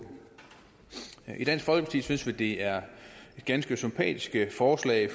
i dansk folkeparti synes vi det er et ganske sympatisk forslag